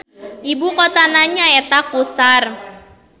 Ibu kotana nyaeta Qusar.